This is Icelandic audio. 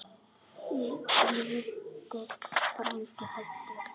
Lítill frændi fæddur.